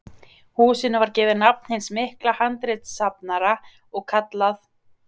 Húsinu var gefið nafn hins mikla handritasafnara og kallað